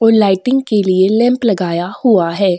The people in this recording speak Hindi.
और लाइटिंग के लिए लैंप लगाया हुआ है।